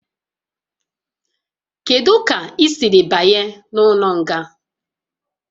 Kedu ka ị siri banye n'ụlọ nga?